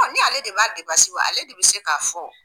Ɔ Ni ale de b'a depansi bɔ ale de be se k'a fɔ o